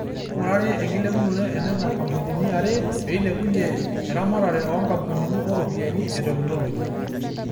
Keingurari ekilepunoto e nena kampunini are peilepunye eramatare o nkampunini o ropiyiani o teknologi.